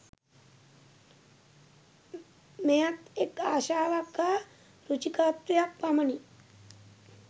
මෙයත් එක් ආශාවක් හා රුචිකාත්වයක් පමණි.